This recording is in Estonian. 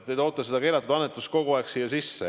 Te toote seda keelatud annetuse teemat kogu aeg siia sisse.